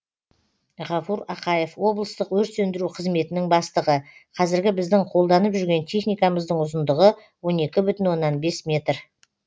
ғафур ақаев облыстық өрт сөндіру қызметінің бастығы қазіргі біздің қолданып жүрген техникамыздың ұзындығы он екі бүтін оннан бес метр